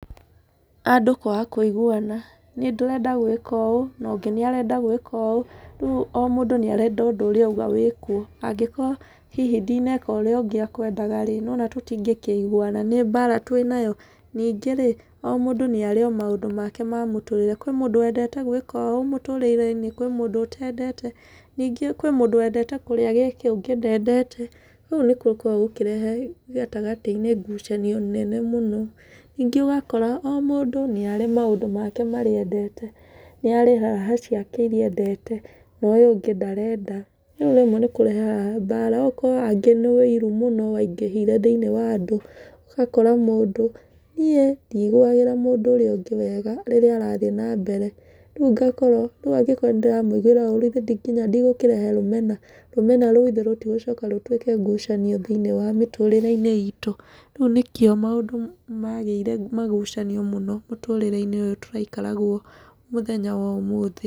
Andũ kwaga kũiguana, nĩ ndĩrenda gwĩka ũũ no ũngĩ arenda gwĩka ũũ, rĩu o mũndũ nĩarenda ũndũ ũrĩa auga wĩkwo. Angĩkorwo ndĩneka hihi ũrĩa ũngĩ e kwendaga-rĩ, nĩ wona tũtingĩkĩiguana, nĩ mbara twĩnayo. Ningĩ-rĩ, o mũndũ nĩarĩ maũndũ make ma mũtũrĩre, kwĩ mũndũ wendete gwĩka ũũ mũtũrĩre-inĩ, kwĩ mũndũ ũtendete. Ningĩ kwĩ mũndũ wendete kũrĩa gĩkĩ, ũngĩ ndendete. Kũu nĩkuo gũkoragwo gũkĩrehe gatagatĩ-inĩ ngucanio nene mũno. Ningĩ wakora o mũndũ nĩarĩ maũndũ make marĩa endete, nĩarĩ raha ciake iria endete na ũyũ ũngĩ ndarenda. Riu rĩmwe nĩkũrehaga mbara, ũgakora angĩ nĩ ũiru mũno waingĩhire thiĩniĩ wa andũ, ũgakora mũndũ, niĩ ndiguagĩra mũndũ ũrĩa ũ ngĩ wega rĩrĩa arathiĩ na mbere, rĩu ngakorwo, rĩu angĩkorwo nĩndĩramũiguĩra ũru githĩ nginya ndĩgũkĩraha rũmena, rũmena rũu gĩthĩ rũtigũcoka rũtuĩke ngucanio thĩiniĩ wa mĩtũrĩre-inĩ itũ. Rĩu nĩkĩo maũndũ magĩire magucanio mũno mũtũrĩre-inĩ ũyũ tũraikara guo mũthenya-inĩ wa ũmũthĩ.